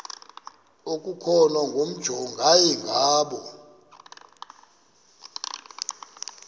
okukhona wamjongay ngaloo